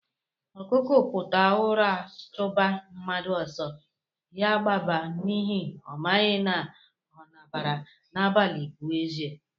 Okuko puta ụra chuba mmadụ ọsọ, ya gbaba n'ihi na ọ maghị ma ọ nabaara n'abalị pụọ eze.